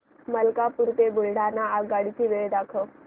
मलकापूर ते बुलढाणा आगगाडी ची वेळ दाखव